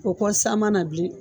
O kɔ san ma na bilen